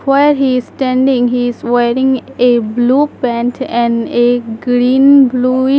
While he is standing he is wearing a blue pant and a green bluish --